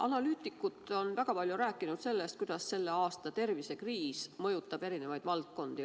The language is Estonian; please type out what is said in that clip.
Analüütikud on väga palju rääkinud sellest, kuidas selle aasta tervisekriis mõjutab erinevaid valdkondi.